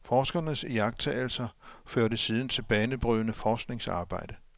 Forskerens iagtagelser førte siden til banebrydende forskningsarbejde.